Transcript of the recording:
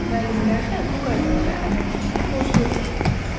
Müəllimlər də bu qaydalara əməl etməyə borcludurlar.